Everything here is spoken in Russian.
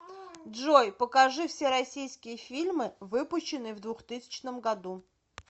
джой покажи все российские фильмы выпущенные в двухтысячном году